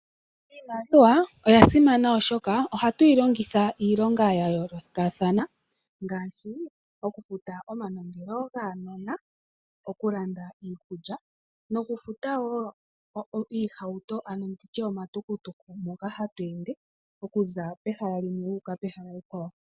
Iimaliwa oya simana oshoka, ohatu yi longitha iilonga ya yoolokathana ngaashi okufuta oma nongelo gaanona, okulanda iikulya noku futa wo iihauto ano nditye omatukutuku moka hatu ende okuza pehala limwe wuuka pehala ekwawo.